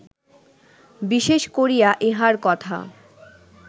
বিশেষ করিয়া ইঁহার কথা